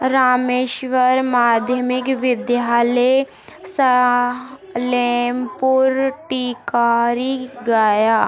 रामेस्वरम माध्यमिक विद्यालय सलेमपुर टिकोरी गया--